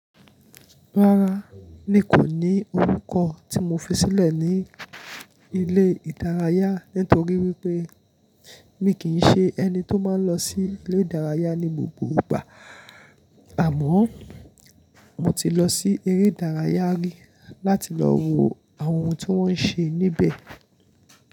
Rárá, nkò ní orúkọ tí mo fi sílẹ̀ ní ilé ìdárayá nítorí wípé mi kì í se ẹni tó máa ń lọ sí ilé ìdárayá ní gbogbo ìgbà, àmọ́ mo ti lọ sí eré ìdárayá rí láti lọ wo àwọn ohun tí wọ́n ń ṣe níbẹ̀.